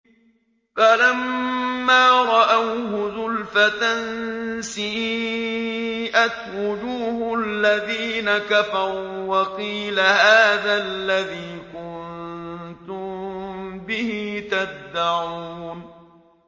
فَلَمَّا رَأَوْهُ زُلْفَةً سِيئَتْ وُجُوهُ الَّذِينَ كَفَرُوا وَقِيلَ هَٰذَا الَّذِي كُنتُم بِهِ تَدَّعُونَ